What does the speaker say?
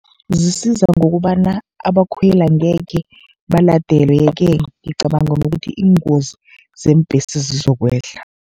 Zisiza ngokobana abakhweli angekhe baladelwe-ke, ngicabanga nokuthi iingozi zeembhesi zizokwehla.